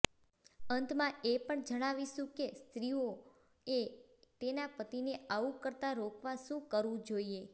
અંતમાં એ પણ જણાવીશું કે સ્ત્રીઓ એ તેના પતિને આવું કરતા રોકવા શું કરવું જોઈએ